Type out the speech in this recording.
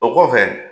O kɔfɛ